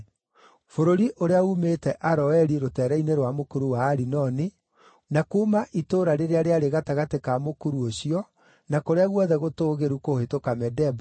Bũrũri ũrĩa uumĩte Aroeri rũteere-inĩ rwa mũkuru wa Arinoni, na kuuma itũũra rĩrĩa rĩarĩ gatagatĩ ka mũkuru ũcio, na kũrĩa guothe gũtũũgĩru kũhĩtũka Medeba,